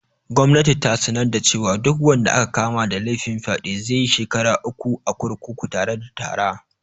Gwamnati ta sanar cewa duk wanda aka kama da laifin fyaɗe zaiyi shekara uku a kurkuku tare da tarra